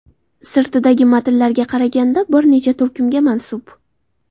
Sirtidagi matnlarga qaraganda, bir necha turkumga mansub.